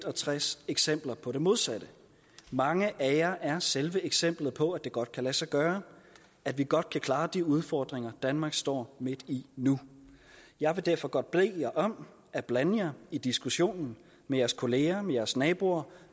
og tres eksempler på det modsatte mange af jer er selve eksemplet på at det godt kan lade sig gøre at vi godt kan klare de udfordringer danmark står midt i nu jeg vil derfor godt bede jer om at blande jer i diskussionen med jeres kollegaer med jeres naboer